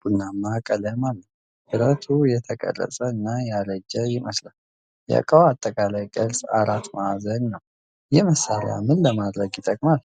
ቡናማ ቀለም አለው። ብረቱ የተቀረጸ እና ያረጀ ይመስላል። የእቃው አጠቃላይ ቅርጽ አራት ማዕዘን ነው። ይህ መሳሪያ ምን ለማድረግ ይጠቅማል?